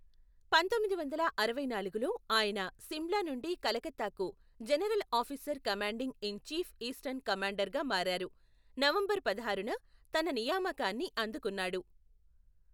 పంతొమ్మిది వందల అరవై నాలుగులో, ఆయన సిమ్లా నుండి కలకత్తాకు general officer commanding in chief eastern కమాండర్గా మారారు, నవంబర్ పదహారున తన నియామకాన్ని అందుకున్నాడు.